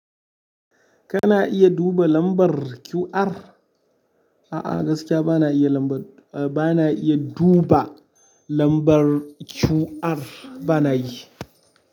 Kana iya duba lambar QR? A'a gaskiya bana iya lambar, bana iya duba lambar QR bana yi.